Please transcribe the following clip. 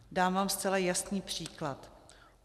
Dám vám zcela jasný příklad.